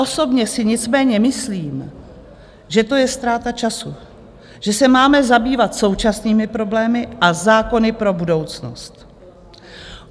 Osobně si nicméně myslím, že to je ztráta času, že se máme zabývat současnými problémy a zákony pro budoucnost.